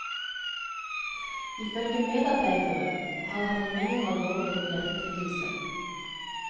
Ifølge medarbeidere har han en mindre alvorlig hjertelidelse.